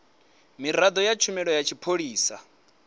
miraḓo ya tshumelo ya tshipholisa